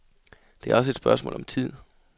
Det er også et spørgsmål om tid.